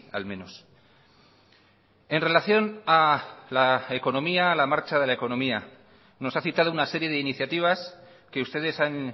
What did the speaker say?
al menos en relación a la economía a la marcha de la economía nos ha citado una serie de iniciativas que ustedes han